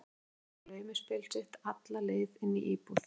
Hún fór með þetta laumuspil sitt alla leið inn í íbúð